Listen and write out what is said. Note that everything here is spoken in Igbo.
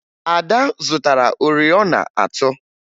Ada zụtara oriọna atọ